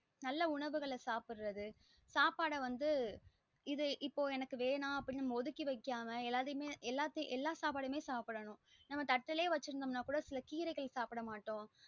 நல்ல உணவுகள சாப்டறது சாப்பாட வந்து இது இப்போ வந்து இது வேணா அப்டின்னு நாம ஒதுக்கி வைக்கிது இல்லாம நம்ம ஏலதுயுமே எல்லத்யுமே எல்லா சாபடயுமே நாம சாப்டனும் நம்ம சில கீரைகள் சாப்ட மாட்டோம்